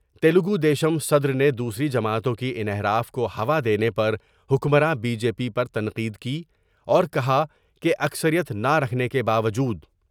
تلگو دیشم صدر نے دوسری جماعتوں کی انحراف کو ہوا دینے پر حکمراں بی جے پی پر تنقید کی اور کہا کہ اکثریت نہ رکھنے کے باوجود